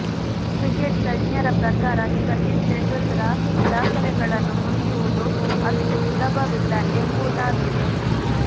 cricket ತಜ್ಞರ ಪ್ರಕಾರ ಸಚಿನ್ ತೆಂಡೂಲ್ಕರ್ ರ ದಾಖಲೆಗಳನ್ನು ಮುರಿಯುವುದು ಅಷ್ಟು ಸುಲಭವಿಲ್ಲ ಎಂಬುವುದಾಗಿದೆ